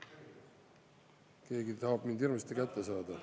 Keegi tahab mind hirmsasti kätte saada.